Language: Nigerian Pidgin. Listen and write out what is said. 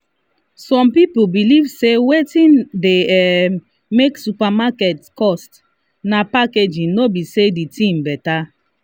some people believe say wetin dey um make supermarket cost na packaging no be say the thing better.